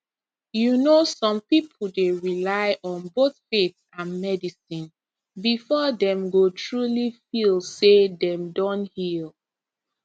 you know some people dey rely on both faith and medicine before dem go truly feel say dem don heal